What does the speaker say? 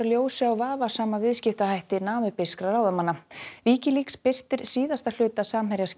ljósi á vafasama viðskiptahætti namibískra ráðamanna Wikileaks birtir síðasta hluta